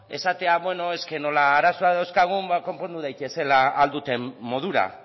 esatea beno nola arazoak dauzkagun konpondu daitezela ahal duten modura